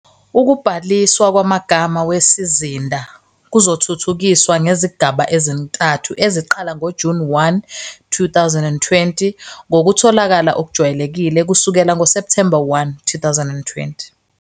Ukubhaliswa kwamagama wesizinda kuzothuthukiswa ngezigaba ezintathu eziqala ngoJuni 1, 2020, ngokutholakala okujwayelekile kusukela ngoSepthemba 1, 2020.